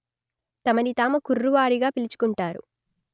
తమను తాము కుర్రువారిగా పిలుచుకుంటారు